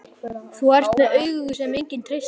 Þú ert með augu sem enginn treystir.